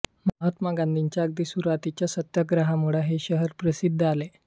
महात्मा गांधींच्या अगदी सुरुवातीच्या सत्याग्रहामुळे हे शहर प्रसिद्धीस आले